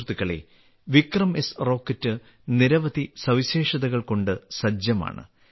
സുഹൃത്തുക്കളേ വിക്രംഎസ് റോക്കറ്റ് നിരവധി സവിശേഷതകൾകൊണ്ട് സജ്ജമാണ്